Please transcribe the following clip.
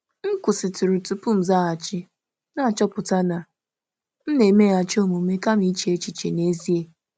M kwụsịrị um tupu m azaghachi, n’ịghọta na m na-emeghachi omume kama um iche echiche um n’ezie.